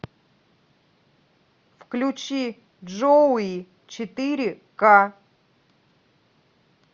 включи джоуи четыре ка